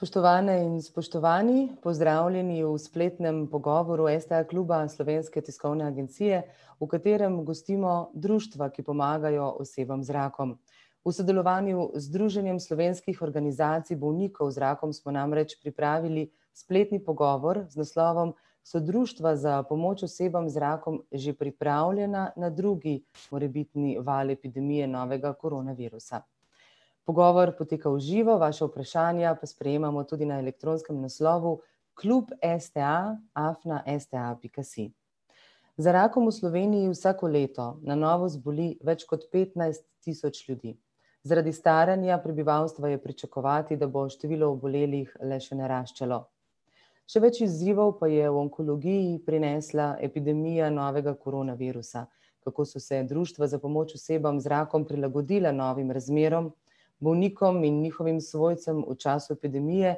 Spoštovane in spoštovani, pozdravljeni v spletnem pogovoru STA kluba Slovenske tiskovne agencije, v katerem gostimo društva, ki pomagajo osebam z rakom. V sodelovanju z Združenjem slovenskih organizacij bolnikov z rakom smo namreč pripravili spletni pogovor z naslovom So društva za pomoč osebam z rakom že pripravljena na drugi morebitni val epidemije novega koronavirusa. Pogovor poteka v živo, vaša vprašanja pa sprejemamo tudi na elektronskem naslovu klub STA afna sta pika si. Za rakom v Sloveniji vsako leto na novo zboli več kot petnajst tisoč ljudi. Zaradi staranja prebivalstva je pričakovati, da bo število obolelih le še naraščalo. Še več izzivov pa je v onkologiji prinesla epidemija novega koronavirusa. Kako so se društva za pomoč osebam z rakom prilagodila novim razmeram, bolnikom in njihovim svojcem v času epidemije,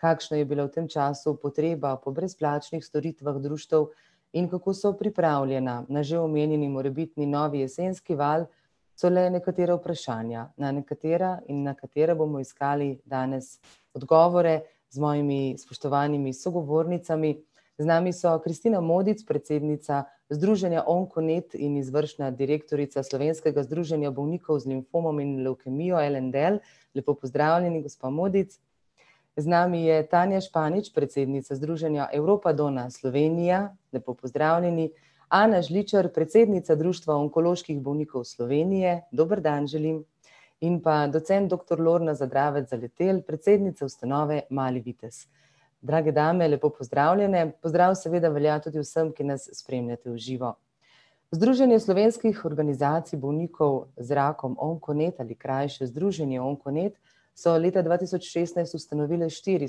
kakšna je bila v tem času potreba po brezplačnih storitvah društev in kako so pripravljena na že omenjeni morebitni novi jesenski val, so le nekatera vprašanja, na nekatera in na katera bomo iskali danes odgovore z mojimi spoštovanimi sogovornicami. Z nami so [ime in priimek] , predsednica združenja Onkonet in izvršna direktorica Slovenskega združenja bolnikov z limfomom in levkemijo L&L, lepo pozdravljeni, gospa Modic. Z nami je [ime in priimek] , predsednica združenja Evropa Donna Slovenija, lepo pozdravljeni. [ime in priimek] , predsednica društva Onkoloških bolnikov Slovenije, dober dan želim. In pa docent doktor [ime in priimek] , predsednica ustanove Mali vitez. Drage dame, lepo pozdravljene, pozdrav seveda velja tudi vsem, ki nas spremljate v živo. Združenje slovenskih organizacij bolnikov z rakom Onkonet ali krajše Združenje Onkonet, so leta dva tisoč šestnajst ustanovile štiri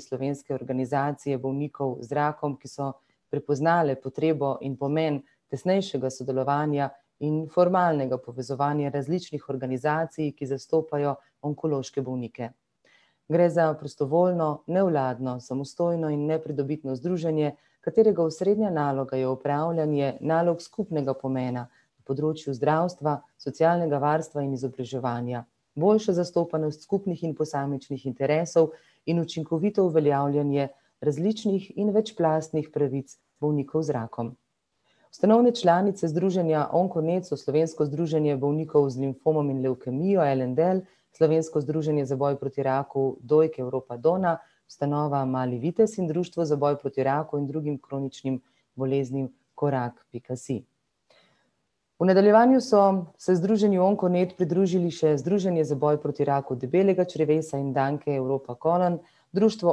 slovenske organizacije bolnikov z rakom, ki so prepoznale potrebo in pomen tesnejšega sodelovanja in formalnega povezovanja različnih organizacij, ki zastopajo onkološke bolnike. Gre za prostovoljno, nevladno, samostojno in nepridobitno združenje, katerega osrednja naloga je opravljanje nalog skupnega pomena na področju zdravstva, socialnega varstva in izobraževanja. Boljša zastopanost skupnih in posamičnih interesov in učinkovito uveljavljanje različnih in večplastnih pravic bolnikov z rakom. Ustanovne članice Združenja Onkonet so Slovensko združenje z limfom in levkemijo L&L, Slovensko združenje za boj proti raku dojke Evropa Donna, ustanova Mali vitez in Društvo za boj proti raku in drugim kroničnim boleznim Korak pika si. V nadaljevanju so se Združenju Onkonet pridružili še Združenje za boj proti raku debelega črevesa in danke EuropaColon Društvo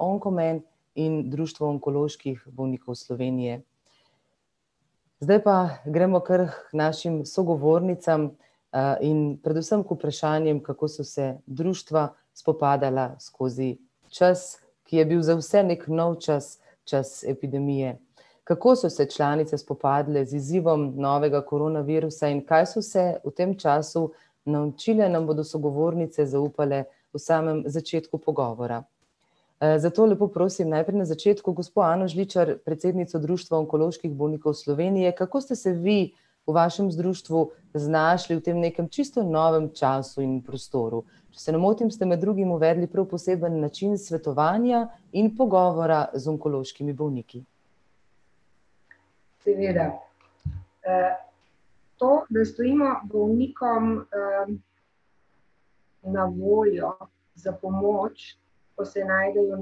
Onkomen in Društvo onkoloških bolnikov Slovenije. Zdaj pa gremo kar k našim sogovornicam in predvsem k vprašanjem, kako so se društva spopadala skozi čas, ki je bil za vse neki nov čas, čas epidemije. Kako so se članice spopadle z izzivom novega koronavirusa in kaj so se v tem času naučile, nam bodo sogovornice zaupale v samem začetku pogovora. zato lepo prosim, najprej na začetku, gospo [ime in priimek] , predsednico društva onkoloških bolnikov Slovenije, kako ste se vi v vašem društvu znašli v tem nekem čisto novem času in prostoru? Če se ne motim, ste med drugim uvedli prav poseben način svetovanja in pogovora z onkološkimi bolniki. Seveda. To, da stojimo bolnikom na voljo, za pomoč, ko se najdejo v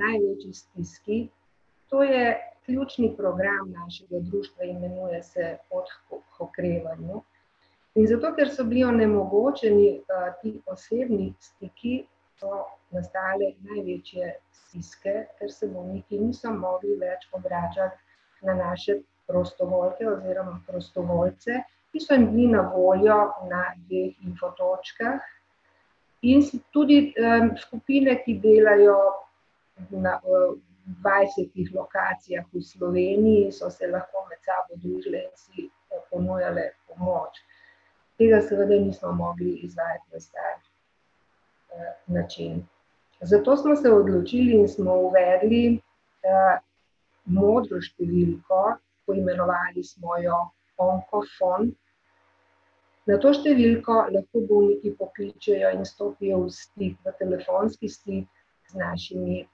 največji stiski, to je ključni program našega društva, imenuje se Pot k okrevanju. In zato, ker so bili onemogočeni ti osebni stiki, so nastale največje stiske, ker se bolniki niso mogli več obračati na naše prostovoljke oziroma prostovoljce, ki so jim bili na voljo na dveh infotočkah in so tudi skupine, ki delajo na dvajsetih lokacijah v Sloveniji, so se lahko med sabo združile in si ponujale pomoč. Tega seveda nismo mogli izvajati na star način. Zato smo se odločili in smo uvedli modro številko, poimenovali smo jo Onkofon. Na to številko lahko bolniki pokličejo in stopijo v stik, v telefonski stik, z našimi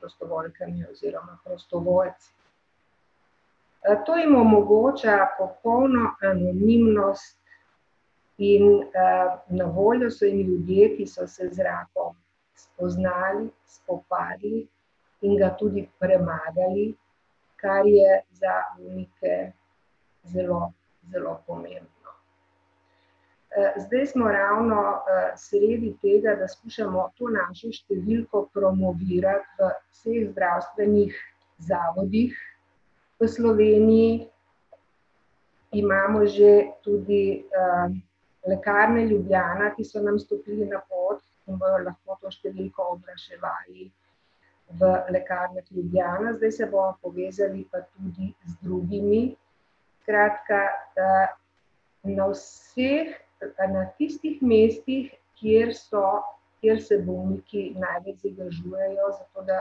prostovoljkami oziroma prostovoljci. to jim omogoča popolno anonimnost in na voljo so jim ljudje, ki so se z rakom spoznali, spopadli, in ga tudi premagali, kar je za bolnike zelo, zelo pomembno. zdaj smo ravno sredi tega, da skušamo to našo številko promovirati v vseh zdravstvenih zavodih v Sloveniji. Imamo že tudi Lekarne Ljubljana, ki so nam stopili na pot in bojo lahko to številko oglaševali v Lekarnah Ljubljana, zdaj se bomo povezali pa tudi z drugimi, skratka na vseh, na tistih mestih, kjer so, kjer se bolniki največ zadržujejo, zato da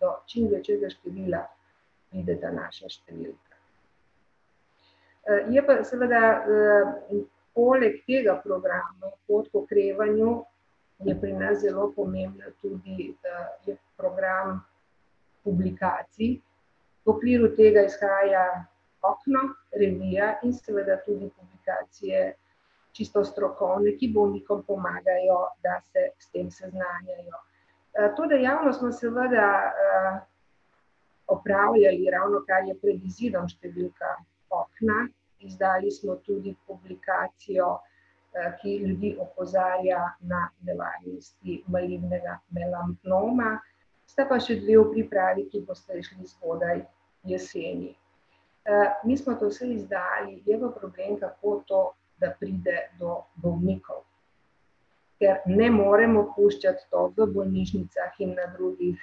do čim večjega števila pride ta naša številka. je pa seveda poleg tega programa Pot k okrevanju, je pri nas zelo pomembna tudi program publikacij. V okviru tega izhaja Okno, revija, in seveda tudi publikacije čisto strokovne, ki bolnikom pomagajo, da se s tem seznanjajo. to dejavnost smo seveda opravljali, ravnokar je pred izidom številka Okna, izdali smo tudi publikacijo ki ljudi opozarja na nevarnosti malignega melanoma. Sta pa še dve v pripravi, ki bosta izšli zgodaj jeseni. mi smo to vse izdali, zdaj pa problem, kako to, da pride do bolnikov. Ja, ne moremo puščati to v bolnišnicah in na drugih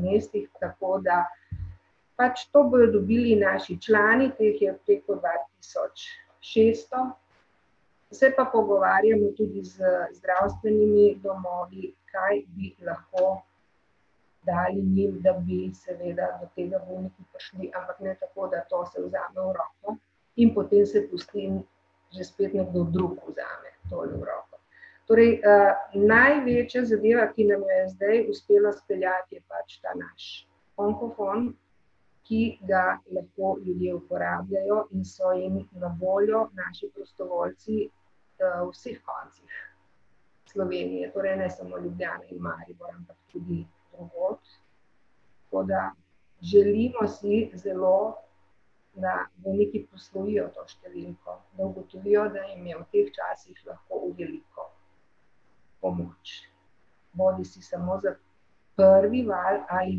mestih, tako da pač to bojo dobili naši člani, ki jih je preko dva tisoč šeststo. Se pa pogovarjamo tudi z zdravstvenimi domovi, kaj bi lahko dali njim, da bi seveda do tega bolniki prišli, ampak ne tako, da to se vzame v roke in potem se pusti in že spet nekdo drug vzame. Torej največja zadeva, ki nam jo je zdaj uspelo speljati, je pač ta naš Onkofon, ki ga lepo ljudje uporabljajo in so jim na voljo naši prostovoljci v vseh koncih Slovenije, torej ne samo Ljubljana in Maribor, ampak tudi drugod. Tako da, želimo si zelo, da veliki to številko, da ugotovijo, da jim je v teh časih lahko v veliko pomoč. Bodisi samo za prvi val ali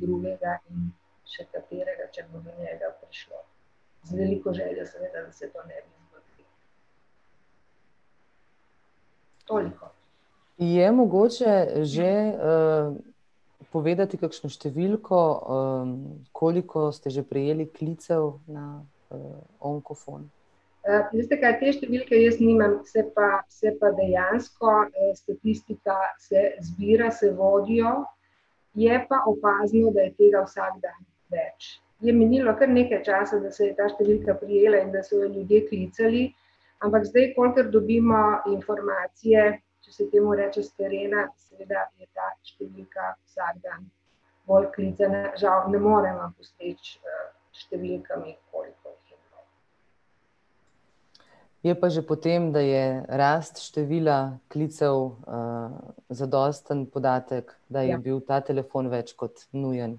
drugega in še katerega, če bo do njega prišlo. Zdaj veliko željo seveda, da se to ne bi zgodilo. Toliko. Je mogoče že povedati kakšno številko koliko ste že prejeli klicev na Onkofon? veste kaj, te številke jaz nimam, se pa, se pa dejansko statistika se zbira, se vodijo, je pa opazno, da je tega vsak dan več. Je minilo kar nekaj časa, da se je ta številka prijela in da so jo ljudje klicali. Ampak zdaj, kolikor dobimo informacije, če se temu reče s terena, seveda je ta številka vsak dan bolj klicana, žal ne morem vam postreči s številkami, koliko jih je bilo. Je pa že po tem, da je rast številka klicev zadosten podatek, da je bil ta telefon več kot nujen,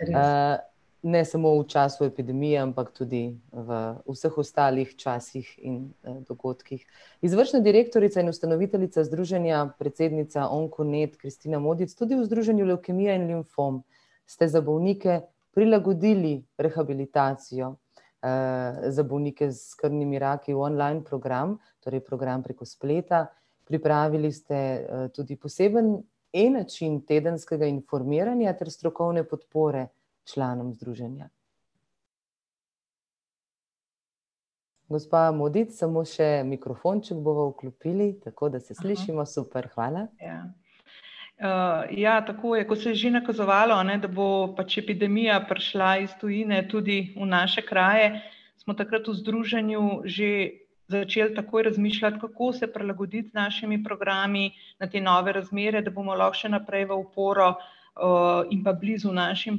Res je. ne samo v času epidemije, ampak tudi v vseh ostalih časih in dogodkih. Izvršna direktorica in ustanoviteljica združenja, predsednica Onkonet [ime in priimek] , tudi v Združenju levkemije in limfom ste za bolnike prilagodili rehabilitacijo. Za bolnike s krvnimi raki online program, torej program preko spleta, pripravili ste tudi poseben e-način tedenskega informiranja ter strokovne podpore članom združenja. Gospa Modic, samo še mikrofon, če bova vklopili, tako da se slišimo, super, hvala. Ja. Ja, tako je, ko se je že nakazovalo, a ne, da bo pač epidemija prišla iz tujine tudi v naše kraje, smo takrat v združenju že začeli takoj razmišljati, kako se prilagoditi z našimi programi na te nove razmere, da bomo lahko šte naprej v oporo in pa blizu našim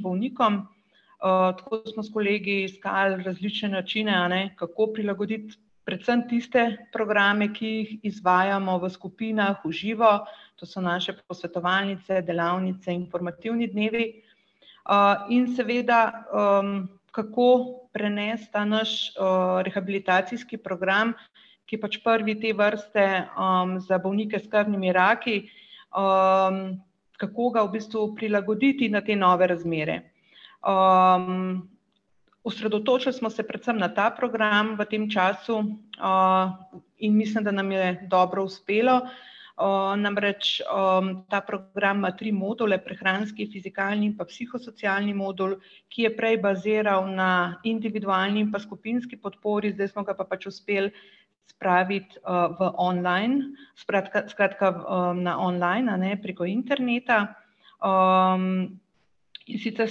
bolnikom. Tako da smo s kolegi iskal različne načine, a ne, kako prilagoditi predvsem tiste programe, ki jih izvajamo v skupinah, v živo, to so naše posvetovalnice, delavnice, informativni dnevi. In seveda, kako prenesti ta naš rehabilitacijski program, ki je pač prvi te vrste za bolnike s krvnimi raki, kako ga v bistvu prilagoditi na te nove razmere. Osredotočili smo se predvsem na ta program v tem času in mislim, da nam je dobro uspelo. Namreč ta program ima tri module: prehranski, fizikalni in pa psiho-socialni modul, ki je prej baziral na individualni in pa skupinski podpori, zdaj smo ga pa pač uspeli spraviti v online, skratka skratka na online, a ne, preko interneta. In sicer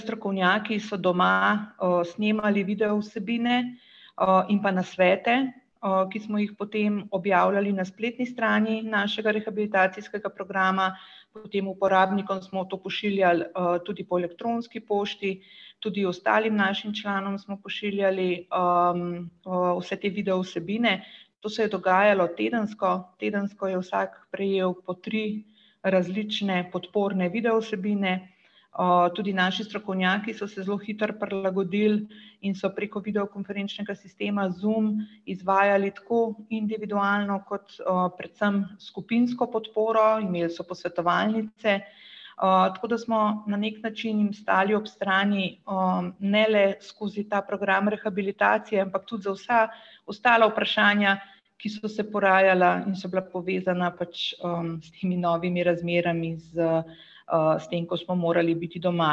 strokovnjaki so doma snemali video vsebine in pa nasvete ki smo jih potem objavljali na spletni strani našega rehabilitacijskega programa, potem uporabnikom smo to pošiljali tudi po elektronski pošti, tudi ostalim našim članom smo pošiljali vse te video vsebine. To se je dogajalo tedensko, tedensko je vsak prejel po tri različne podporne video vsebine. Tudi naši strokovnjaki so se zelo hitro prilagodili in so preko videokonferenčnega sistema Zoom izvajali tako individualno kot predvsem skupinsko podporo, imeli so posvetovalnice. Tako da smo na neki način jim stali ob strani ne le skozi ta program rehabilitacije, ampak tudi za vsa ostala vprašanja, ki so se porajala in so bila povezana pač s temi novimi razmerami z s tem, ko smo morali biti doma.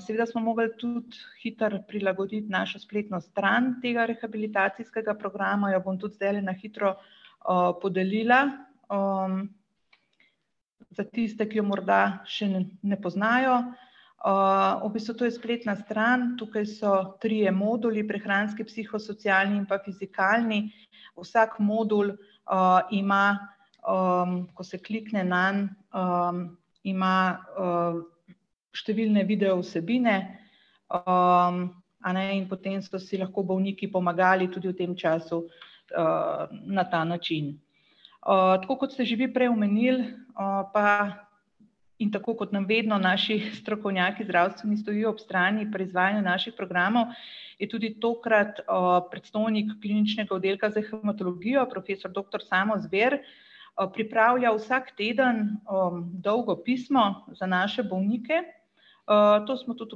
seveda smo mogli tudi hitro prilagoditi našo spletno stran tega rehabilitacijskega programa, jo bom tudi zdajle na hitro podelila za tiste, ki jo morda še ne poznajo. V bistvu to je spletna stran, tukaj so trije moduli: prehranski, psiho-socialni in pa fizikalni. Vsak modul ima, ko se klikne nanj, ima številne video vsebine, a ne, in potem so si lahko bolniki pomagali tudi v tem času na ta način. Tako kot ste že vi prej omenili, pa in tako kot nam vedno naši strokovnjaki zdravstveni stojijo ob strani pri izvajanju naših programov, je tudi tokrat predstojnik Kliničnega oddelka za hematologijo profesor doktor [ime in priimek] pripravljal vsak teden dolgo pismo za naše bolnike. To smo tudi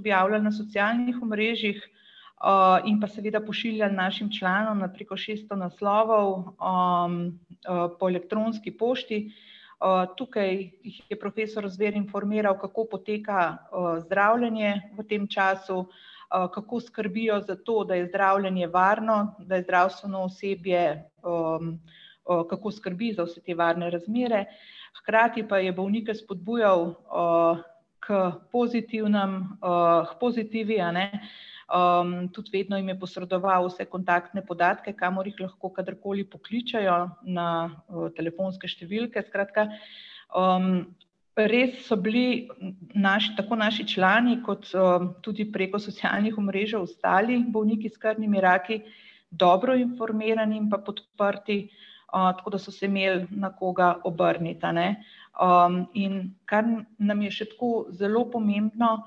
objavljali na socialnih omrežjih in pa seveda pošiljali našim članom na preko šeststo naslovov po elektronski pošti. Tukaj jih je profesor Zver informiral, kako poteka zdravljenje v tem času, kako skrbijo za to, da je zdravljenje varno, da je zdravstveno osebje, kako skrbi za vse te varne razmere, hkrati pa je bolnike spodbujal k pozitivnem, k pozitivi a ne, tudi vedno jim je posredoval vse kontaktne podatke, kamor jih lahko kadarkoli pokličejo na telefonske številke, skratka. Res so bili naši, tako naši člani kot tudi preko socialnih omrežij ostali bolniki s krvnimi raki dobro informirani pa podprti, tako da so se imeli na koga obrniti, a ne. In kar nam je še tako zelo pomembno,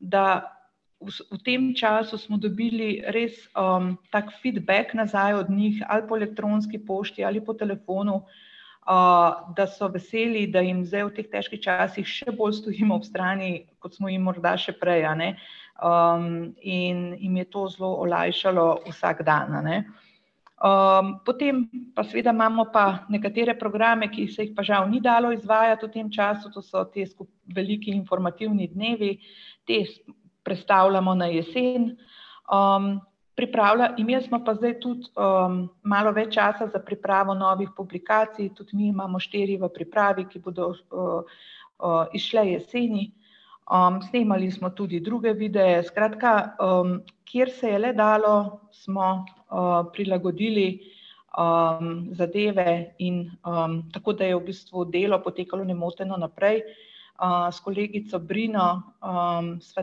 da v tem času smo dobili res tako feedback nazaj od njih ali po elektronski pošti ali po telefonu, da so veseli, da jim zdaj v teh težkih časih še bolj stojimo ob strani, kot smo jim morda še prej, a ne, in jim je to zelo olajšalo vsak dan, a ne. Potem pa seveda imamo pa nekatere programe, ki se jih pa žal ni dalo izvajati v tem času, to so te veliki informativni dnevi, prestavljamo na jesen. Pripravila imeli smo pa zdej tudi malo več časa za pripravo novih publikacij, tudi mi imamo štiri v pripravi, ki bodo izšle jeseni. Snemali smo tudi druge videe, skratka kjer se je le dalo, smo prilagodili zadeve in tako da je v bistvu delo potekalo nemoteno naprej. S kolegico Brino sva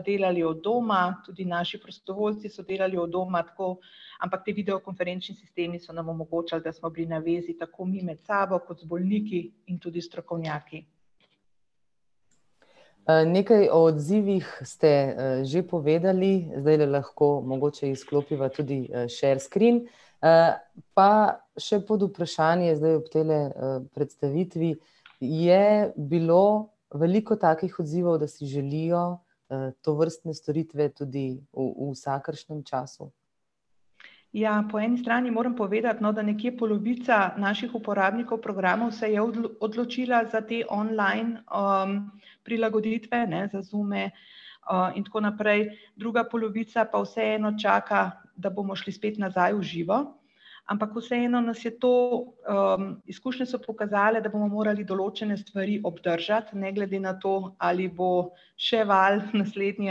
delali od doma, tudi naši prostovoljci so delali od doma tako. Ampak ti videokonferenčni sistemi so nam omogočali, da smo bili na vezi tako mi med sabo kot z bolniki in tudi strokovnjaki. Nekaj o odzivih ste že povedali, zdajle lahko mogoče izklopiva tudi share screen. Pa še podvprašanje zdaj ob tejle predstavitvi. Je bilo veliko takih odzivov, da si želijo tovrstne storitve tudi v vsakršnem času? Ja, po eni strani moram povedati, no, da nekje polovica naših uporabnikov programov se je odločila za te online prilagoditve, ne, za Zume in tako naprej. Druga polovica pa vseeno čaka, da bomo šli spet nazaj v živo. Ampak vseeno nas je to, izkušnje so pokazale, da bomo morali določene stvari obdržati, ne glede na to, ali bo še val naslednji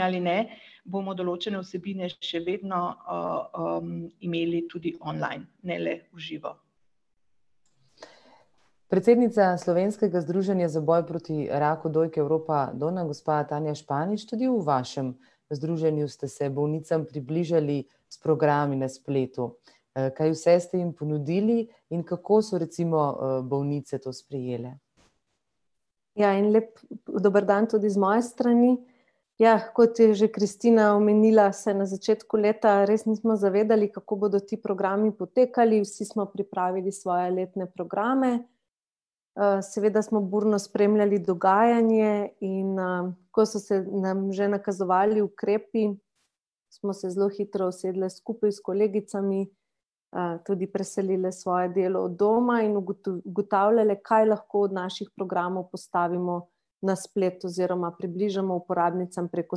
ali ne, bomo določene vsebine še vedno imeli tudi online, ne le v živo. Predsednica Slovenskega združenja za boj proti raku dojke Evropa Donna, gospa [ime in priimek] , tudi v vašem združenju ste se bolnicam približali s programi na spletu. Kaj vse ste jim ponudili in kako so recimo bolnice to sprejele? Ja en lep dober dan tudi iz moje strani. Ja, kot je že Kristina omenila, se na začetku leta res nismo zavedali, kako bodo ti programi potekali, vsi smo pripravili svoje letne programe, seveda smo burno spremljali dogajanje in ko so se nam že nakazovali ukrepi, smo se zelo hitro usedle skupaj s kolegicami, tudi preselile svoje delo od doma in ugotavljale, kaj lahko od naših programov postavimo na splet oziroma približamo uporabnicam preko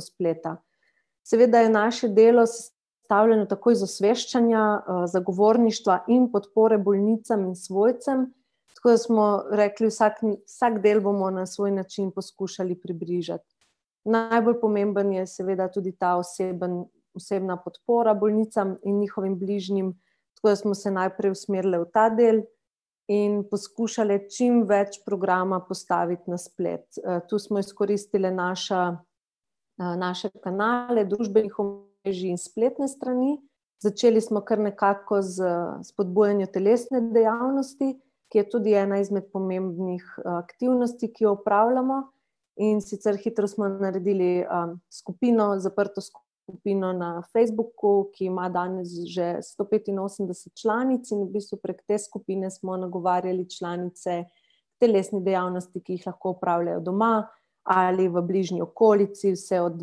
spleta. Seveda je naše delo sestavljeno tako iz osveščanja, zagovorništva in podpore bolnicam in svojcem, tako da smo rekli: vsak vsak del bomo na svoj način poskušali približati. Najbolj pomembno je seveda tudi ta oseben, osebna podpora bolnicam in njihovim bližnjim, tako da smo se najprej usmerile v ta del in poskušale čim več programa postaviti na splet. Tu smo izkoristile naša, naše kanale družbenih omrežij in spletnih strani. Začeli smo kar nekako s spodbujanjem telesne dejavnosti, ki je tudi ena izmed pomembnih aktivnosti, ki opravljamo. In sicer hitro smo naredili skupino, zaprto skupino na Facebooku, ki ima danes že sto petinosemdeset članic in v bistvu prek te skupine smo nagovarjali članice, telesne dejavnosti, ki jih lahko opravljajo doma ali v bližnji okolici, vse od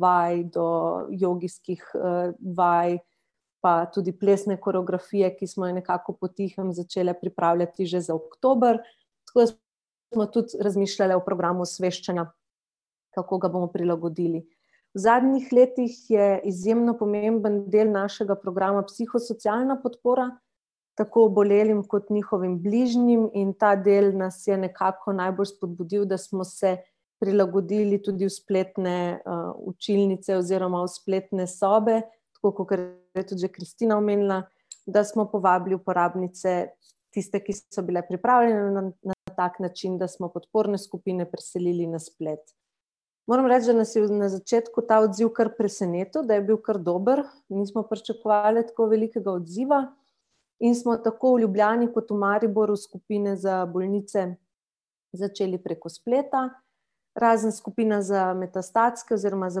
vaj do jogijskih vaj pa tudi plesne koreografije, ki smo jo nekako potihem začele pripravljati že za oktober, tako da smo tudi razmišljale o programu osveščanja, kako ga bomo prilagodili. V zadnjih letih je izjemno pomemben del našega programa psiho-socialna podpora, tako obolelim kot njihovim bližnjim in ta del nas je nekako najbolj spodbudil, da smo se prilagodili tudi v spletne učilnice oziroma v spletne sobe, tako, kakor je tudi že Kristina omenila, da smo povabili uporabnice, tiste, ki so bile pripravljene na na tak način, da smo podporne skupine preselili na splet. Moram reči, da nas je na začetku ta odziv kar presenetil, da je bil kar dober, nismo pričakovale tako velikega odziva in smo tako v Ljubljani kot v Mariboru skupine za bolnice začeli preko spleta, razen skupina za metastatske oziroma za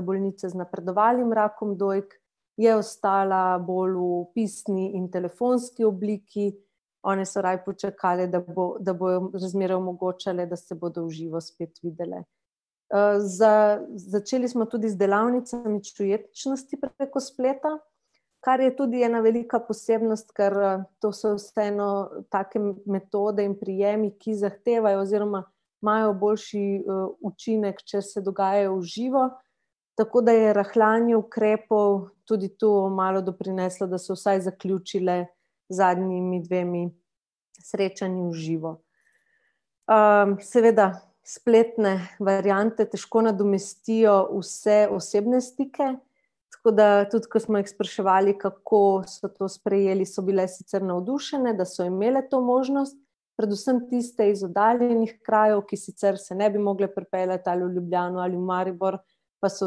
bolnice z napredovalnim rakom dojk je ostala bolj v pisni in telefonski obliki. One so raje počakale, da bo, da bojo razmere omogočale, da se bojo v živo spet videle. začeli smo tudi z delavnicami čuječnosti preko spleta, kar je tudi ena velika posebnost, ker to so vseeno take metode in prijemi, ki zahtevajo, oziroma imajo boljši učinek, če se dogajajo v živo. Tako da je rahljanje ukrepov tudi tu malo doprineslo, da so vsaj zaključile z zadnjima dvema srečanjema v živo. Seveda spletne variante težko nadomestijo vse osebne stike, tako da tudi, ko smo jih spraševali, kako so to sprejeli, so bile sicer navdušene, da so imele to možnost, predvsem tiste iz oddaljenih krajev, ki sicer se ne bi mogle pripeljat ali v Ljubljano ali v Maribor, pa so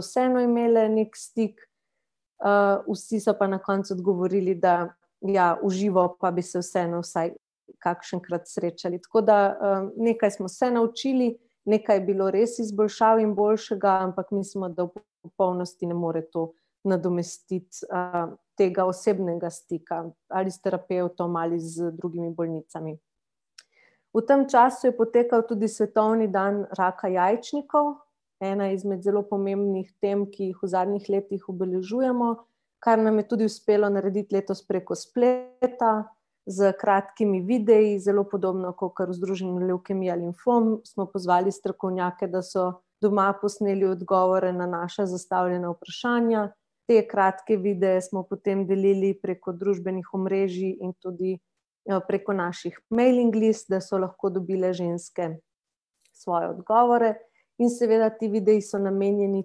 vseeno imele neki stik. Vsi so pa na koncu odgovorili, da ja, v živo pa bi se vseeno vsaj kakšenkrat srečali, tako da nekaj smo se naučili, nekaj je bilo res izboljšav in boljšega, ampak mislim, da v popolnosti ne more to nadomestiti tega osebnega stika ali s terapevtom ali z drugimi bolnicami. V tem času je potekal tudi svetovni dan raka jajčnikov, ena izmed zelo pomembnih tem, ki jih v zadnjih letih obeležujemo, kar nam je tudi uspelo narediti letos preko spleta s kratkimi videi, zelo podobno kakor v Združenju levkemije limfom smo pozvali strokovnjake, da so doma posneli odgovore na naša zastavljena vprašanja, te kratke videe smo potem delili preko družbenih omrežij in tudi preko naših mailing list, da so lahko dobile ženske svoje odgovore in seveda ti videi so namenjeni